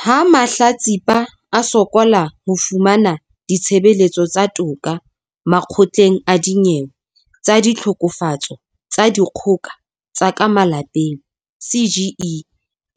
Ha mahlatsipa a sokola ho fumana ditshebeletso tsa toka Makgotleng a Dinyewe tsa Ditlhokofatso tsa Dikgoka tsa ka Malapeng, CGE